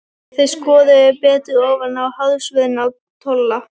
Þeir skoðuðu betur ofan í hársvörðinn á Tolla.